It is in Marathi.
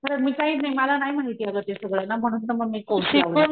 खार मी काही नाही मला नाही माहिती आग ते सगळं म्हणून ना मी कोर्स लावला.